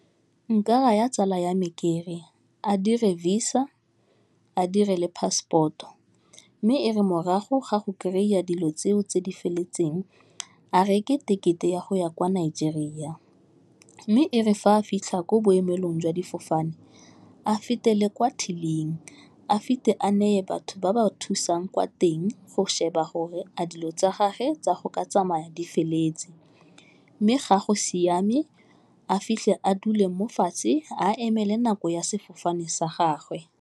Nka raya tsala ya me kere a dire visa, a dire le passport-o, mme e re morago ga go kry-a dilo tseo tse di feletseng, a reke tekete ya go ya kwa Nigeria, mme e re fa a fitlha ko boemelong jwa difofane, a fetele kwa till-ing, a fitlhe a neye batho ba ba thusang kwa teng go sheba gore a dilo tsa gagwe tsa go ka tsamaya di feleletse, mme ga go siame, a fitlhe a dule mo fatshe a emele nako ya sefofane sa gagwe.